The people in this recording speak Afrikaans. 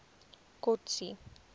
kotsi